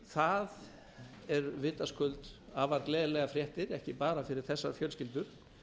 það eru vitaskuld afar gleðilegar fréttir ekki bara fyrir þessar fjölskyldur